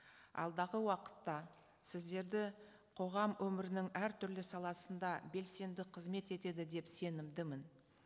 алдағы уақытта сіздерді қоғам өмірінің әртүрлі саласында белсенді қызмет етеді деп сенімдімін